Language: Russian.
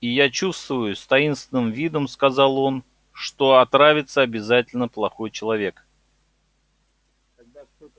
и я чувствую с таинственным видом сказал он что отравится обязательно плохой человек